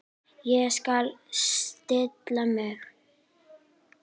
Ég skal stilla mig.